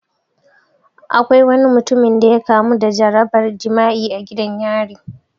Akwai wani mutumin da ya kamu da jarabar jima'i a gidan yari